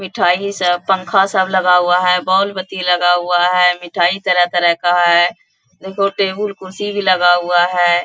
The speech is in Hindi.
मिठाई सब पंखा सब लगा हुआ है | बॉल बत्ती लगा हुआ है | मिठाई तरह तरह का है देखो टेबल कुर्सी भी लगा हुआ है।